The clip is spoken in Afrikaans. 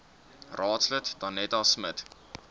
raadslid danetta smit